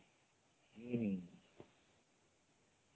ହୁଁ